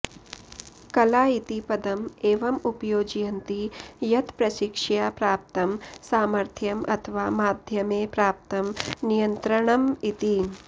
कला इति पदम् एवम् उपयोजयन्ति यत् प्रशिक्षया प्राप्तं सामर्थ्यम् अथवा माध्यमे प्राप्तं नियन्त्रणम् इति